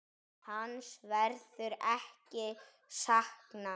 Hans verður ekki saknað.